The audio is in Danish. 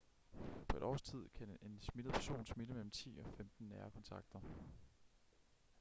på et års tid kan en smittet person smitte mellem 10 og 15 nære kontakter